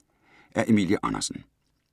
Af Emilie Andersen